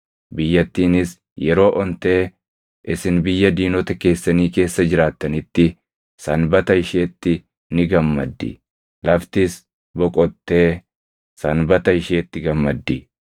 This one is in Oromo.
Biyyattiinis yeroo ontee isin biyya diinota keessanii keessa jiraattanitti sanbata isheetti ni gammaddi; laftis boqottee sanbata isheetti gammaddi.